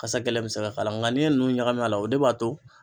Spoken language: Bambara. Kasa gɛlɛn bɛ se k'a la nka n'i ye ninnu ɲagami a la o de b'a to